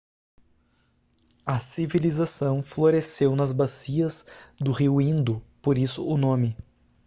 a civilização floresceu nas bacias do rio indo por isso o nome